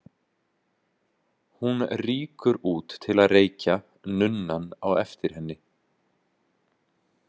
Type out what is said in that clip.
Hún rýkur út til að reykja, nunnan á eftir henni.